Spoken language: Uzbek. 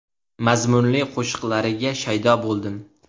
Mazmunli qo‘shiqlariga shaydo bo‘ldim.